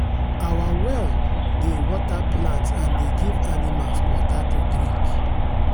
our well dey water plants and dey give animals water to drink.